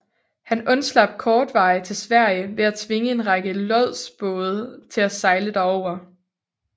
Han undslap kortvarigt til Sverige ved at tvinge en række lodsbåde til at sejle derover